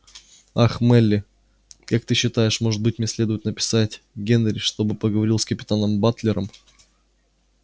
ах мелли как ты считаешь может быть мне следует написать генри чтобы он поговорил с капитаном батлером